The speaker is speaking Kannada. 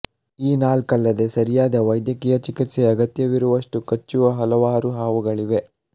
ಈ ನಾಲ್ಕಲ್ಲದೆ ಸರಿಯಾದ ವೈದ್ಯಕೀಯ ಚಿಕಿತ್ಸೆಯ ಅಗತ್ಯವಿರುವಷ್ಟು ಕಚ್ಚುವ ಹಲವಾರು ಹಾವುಗಳಿವೆ